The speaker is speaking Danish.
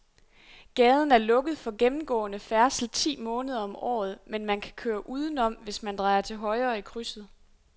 Gaden er lukket for gennemgående færdsel ti måneder om året, men man kan køre udenom, hvis man drejer til højre i krydset.